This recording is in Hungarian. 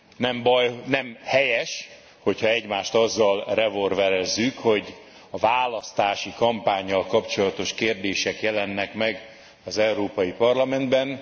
Nem baj, nem helyes, ha egymást azzal revolverezzük, hogy a választási kampánnyal kapcsolatos kérdések jelennek meg az Európai Parlamentben.